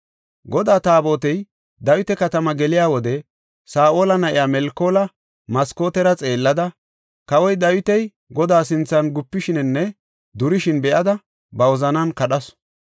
Godaa Taabotey Dawita Katama geliya wode Saa7ola na7iya Melkoola maskootera xeellada, kawoy Dawiti Godaa sinthan gupishininne durishin be7ada ba wozanan kadhasu.